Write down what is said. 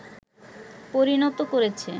পরিণত করেছে